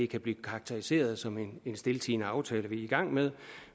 kan blive karakteriseret som en stiltiende aftale man er i gang med